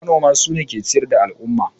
Manoma sune ke ciyar da al'umma